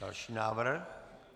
Další návrh.